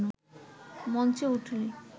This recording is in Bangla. মঞ্চে উঠলে